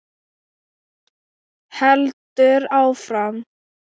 Heldur áfram